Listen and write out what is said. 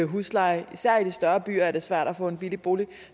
husleje og især i de større byer er det svært at få en billig bolig